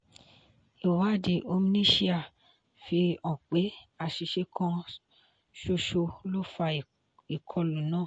ìwádìí omniscia fi hàn pé àṣìṣe kan ṣoṣo ló fà ìkọlù náà.